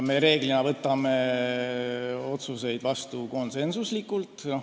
Me üldiselt võtame otsuseid vastu konsensuslikult.